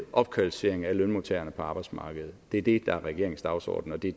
opkvalificering af lønmodtagerne på arbejdsmarkedet det er det der er regeringens dagsorden og det